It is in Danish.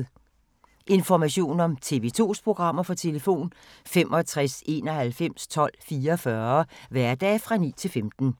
Information om TV 2's programmer: 65 91 12 44, hverdage 9-15.